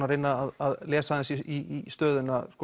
að reyna að lesa aðeins í stöðuna